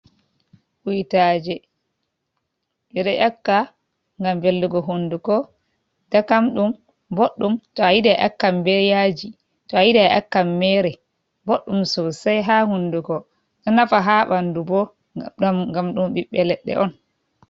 Kuitaje ɓe ɗo nyaakka ngam velnugo hunduko, dakamɗum boɗɗum. To ayiɗi aƴakkan be yaaji to a yiɗi aƴaakkan meere. Boɗɗum sosai ha hunduko ɗo nafa ha ɓaandu bo ngam ɗum ɓiɓɓe leɗɗe on.